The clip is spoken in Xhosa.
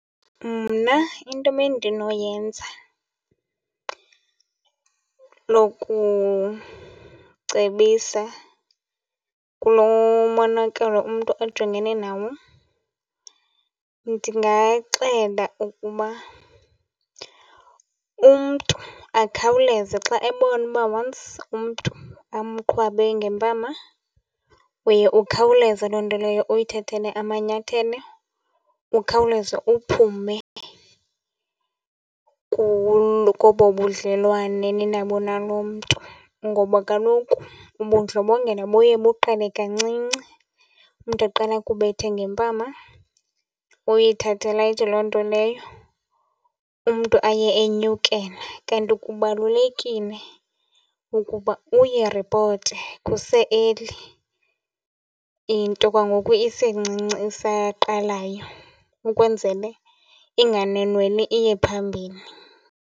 Mna into bendinoyenza lokucebisa kulo monakalo umntu ajongene nawo, ndingaxela ukuba umntu akhawuleze. Xa ebona uba once umntu amqhwabe ngempama uye ukhawuleze loo nto leyo ayithathele amanyathelo, ukhawuleze uphume koobo budlelwane ninabo nalo mntu. Ngoba kaloku ubundlobongela buye buqale kancinci. Umntu aqala akubethe ngempama, uyithathe light loo nto leyo umntu aye enyukela. Kanti kubalulekile ukuba uyiripote kuse-early into kwangoku isencinci isaqalayo, ukwenzele inganwenweli iye phambili.